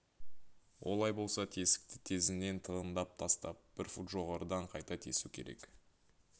олай болса тесікті тезінен тығындап тастап бір фут жоғарыдан қайта тесу керек